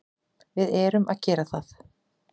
Við erum að gera það.